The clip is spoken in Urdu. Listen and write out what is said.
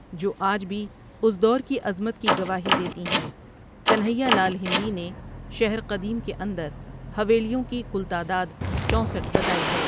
جو آج بھی اس دور کی عظمت کی گواہی دیتی ہیں کنہیا لال ہندی نے شہر قدیم کے اندر حوایلیوں کی کل تعداد چونسٹھ بتائی ہے ۔